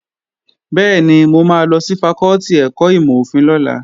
Bẹ́ẹ̀ni, mo máa lọ sí fakọ́tì ẹ̀kọ́ ìmọ̀-òfin lọ́la